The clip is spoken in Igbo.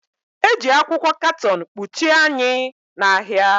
Eji akwụkwọ katọn kpuchie anyị na ahịa